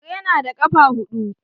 Kare na da kafa hudu